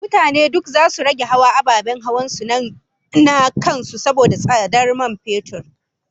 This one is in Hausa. Mutane duk zasu rage hawa ababen hawansu na kan su saboda tsadar man fetur